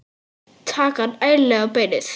Taka hann ærlega á beinið.